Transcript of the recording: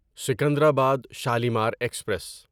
Secunderabad Shalimar express